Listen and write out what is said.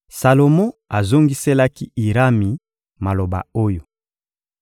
Salomo azongiselaki Irami maloba oyo: